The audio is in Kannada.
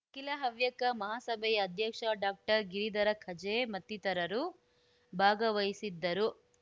ಅಖಿಲ ಹವ್ಯಕ ಮಹಾಸಭೆಯ ಅಧ್ಯಕ್ಷ ಡಾಕ್ಟರ್ಗಿರಿಧರ ಕಜೆ ಮತ್ತಿತರರು ಭಾಗವಹಿಸಿದ್ದರು